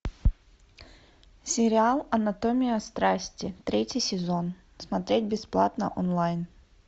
сериал анатомия страсти третий сезон смотреть бесплатно онлайн